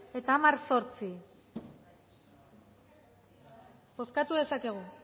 eta hamar puntu zortzi bozkatu dezakegu